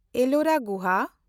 Ellora ᱜᱩᱦᱟ